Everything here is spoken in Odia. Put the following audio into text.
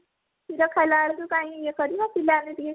କ୍ଷୀର ଖାଇଲା ବେଳକୁ କାଇଁ ଇଏ କରିବା ପିଲାମାନେ ଟିକେ ଖାଇବେ